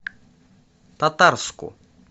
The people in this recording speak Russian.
татарску